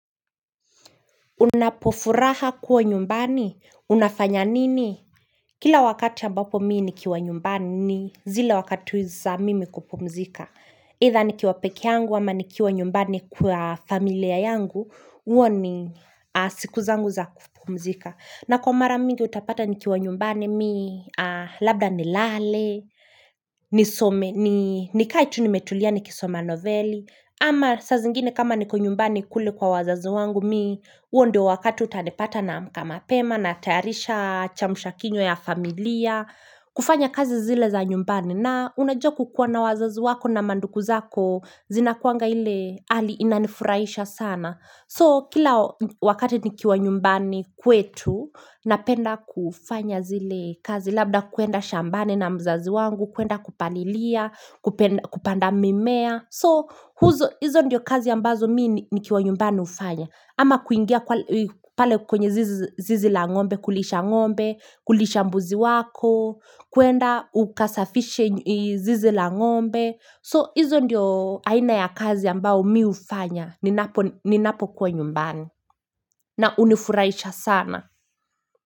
Unapofuraha kuwa nyumbani? Unafanya nini? Kila wakati ambapo mi nikiwa nyumbani ni zile wakati wi za mimi kupumzika. Itha nikiwa pekee yangu ama nikiwa nyumbani kwa familia yangu, hua ni siku zangu za kupumzika. Na kwa mara mingi utapata nikiwa nyumbani mi, labda nilale, nikae tu nimetulia nikisoma novelli, ama saa zingine kama niko nyumbani kule kwa wazazi wangu mi, huondo wakati utanipata naamka mapema natayarisha chamusha kinywa ya familia, kufanya kazi zile za nyumbani. Na unajua ku kuwa na wazazi wako na mandugu zako zina kuanga ile ali inanifurahisha sana. So kila wakati nikiwa nyumbani kwetu na penda kufanya zile kazi. Labda kuenda shambani na mzazi wangu, kuenda kupalilia, kupanda mimea. So hizo ndio kazi ambazo mi nikiwa nyumbani ufanya ama kuingia pale kwenye zizi la ngombe kulisha ngombe kulisha mbuzi wako kuenda ukasafishe zizi la ng'ombe So hizo ndio aina ya kazi ambao mi ufanya Ninapokuwa nyumbani na unifuraisha sana.